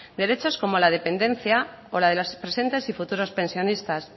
derechos como la dependencia o la de los presentes y futuros pensionistas